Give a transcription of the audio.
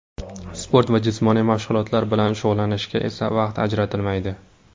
Sport va jismoniy mashg‘ulotlar bilan shug‘ullanishga esa vaqt ajratilmaydi.